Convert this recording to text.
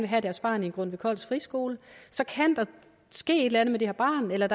have deres barn i en grundtvig koldsk friskole så kan der ske et eller andet med det her barn eller